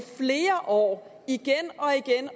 flere år igen